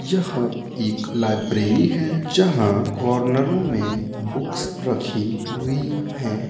यह एक लाइब्रेरी हैजहाँ कॉर्नरों में बुक्स रखी हुईं हैं।